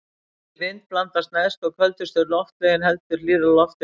Hreyfi vind blandast neðstu og köldustu loftlögin heldur hlýrra lofti fyrir ofan.